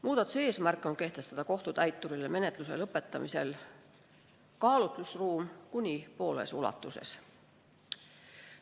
Muudatuse eesmärk on kehtestada kohtutäiturile menetluse lõpetamise korral kaalutlusruum "kuni pooles ulatuses".